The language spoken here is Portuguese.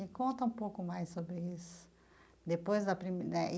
E conta um pouco mais sobre isso, depois a primei eh.